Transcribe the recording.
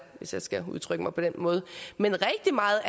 hvis jeg skal udtrykke mig på den måde men rigtig meget